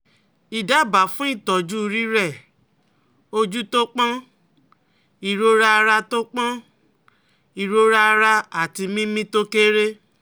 Idaba fun itoju rire, oju to pon, irora ara to pon, irora ara ati mimi to kere